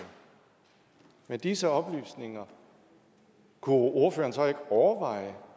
med disse oplysninger kunne ordføreren så ikke overveje